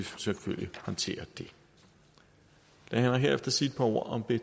selvfølgelig håndtere det lad mig herefter sige et par ord om b